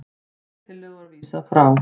Þeirri tillögu var vísað frá